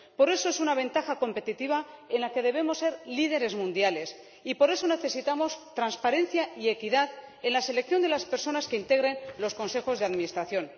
por eso es una ventaja competitiva en la que debemos ser líderes mundiales y por eso necesitamos transparencia y equidad en la selección de las personas que integren los consejos de administración.